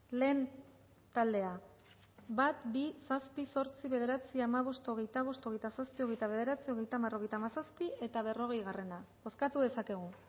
lehen taldea bat bi zazpi zortzi bederatzi hamabost hogeita bost hogeita zazpi hogeita bederatzi hogeita hamar hogeita hamazazpi eta berrogei bozkatu dezakegu